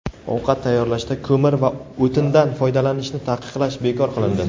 ovqat tayyorlashda ko‘mir va o‘tindan foydalanishni taqiqlash) bekor qilindi.